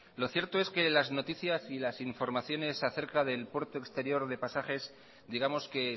lo cierto es que las noticias y las informaciones acerca del puerto exterior de pasajes digamos que